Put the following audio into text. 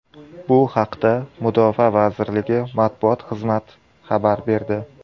Bu haqda Mudofaa vazirligi matbuot xizmat xabar berdi .